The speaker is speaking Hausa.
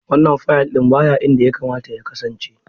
Wannan fayil ɗin baya inda yakamata ya kasance.